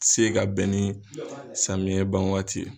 Se ka bɛn ni samiyɛn ban waati ye.